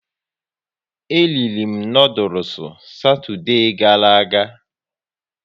E riri m noodules Satoude gara aga